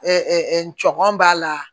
n cɔkɔn b'a la